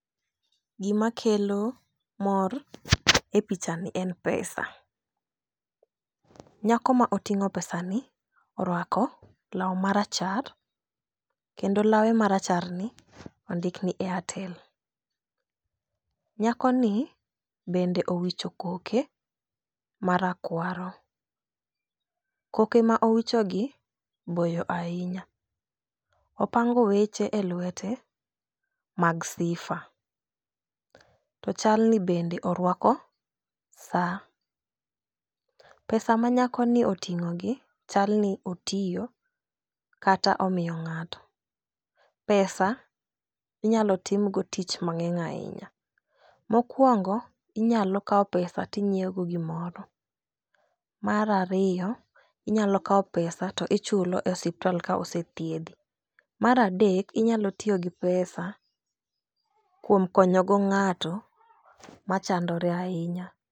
Gimakelo mor e pichani en pesa. Nyako ma oting'o pesa ni oruako lau marachar kendo lawe maracharni ondikni airtel. Nyakoni bende owicho koke marakwaro. Koke ma owichogi boyo ainya. Opango weche e luete mag sifa to chalni bende oruako saa. Pesa manyakoni oting'ogi chalni otiyo kata omiyo ng'ato. Pesa inyalo tim go tich mang'eny ainya. Mokuongo inyalo kao pesa tinyieogo gimoro. Mar ariyo inyalo kao pesa to ichulo e osiptal kaosethiedhi. Mar adek inyalo tiyogi pesa kuom konyogo ng'ato machandore ainya.